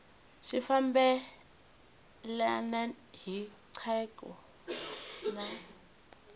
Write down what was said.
swi fambelena hi nkhaqato na